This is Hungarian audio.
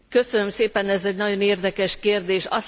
Köszönöm szépen, ez egy nagyon érdekes kérdés!